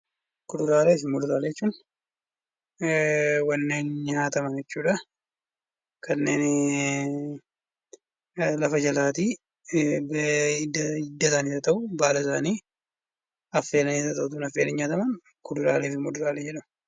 Kuduraalee fi muduraalee jechuun warreen nyaataman jechuudha. Kanneen lafa jalaa hidda isaanii baala isaanii affeelamanii nyaataman kuduraalee fi muduraalee jedhama.